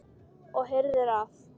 Og herðir að.